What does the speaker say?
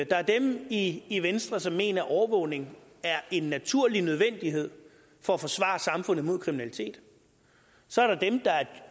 er dem i i venstre som mener at overvågning er en naturlig nødvendighed for at forsvare samfundet mod kriminalitet så er der dem der er